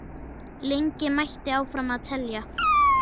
Lengi mætti áfram telja.